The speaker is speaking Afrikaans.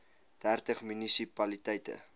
dertig munisi paliteite